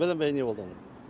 бәленбай не болды анау